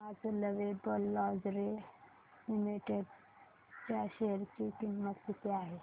आज lovable lingerie limited च्या share ची किंमत किती आहे